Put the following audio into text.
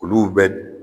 Olu bɛ